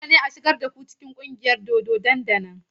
Dole ne a shigar da ku cikin ƙungiyar dodo nan da nan!